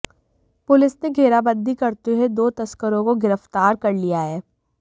police ने घेराबंदी करते हुए दो तस्करों को गिरफ्तार कर लिया है